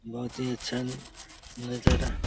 बोहोत ही अचल नजारा --